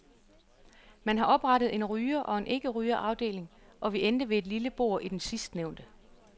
Man har oprettet en ryger og en ikkeryger afdeling, og vi endte ved et lille bord i den sidstnævnte.